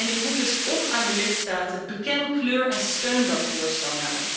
Ik roep dus op aan de lidstaten beken kleur en steun dat voorstel.